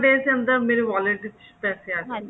ਦੇ ਅੰਦਰ ਮੇਰੇ wallet ਚ ਪੈਸੇ ਆ ਜਾਣੇ